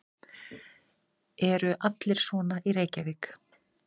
Eru allir svona í Reykjavík?